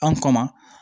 An kɔ ma